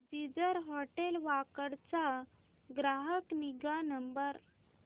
ginger hotel Wakad चा ग्राहक निगा नंबर